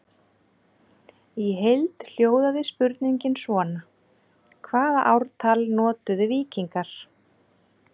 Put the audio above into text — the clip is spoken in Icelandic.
Í heild hljóðaði spurningin svona: Hvaða ártal notuðu víkingar?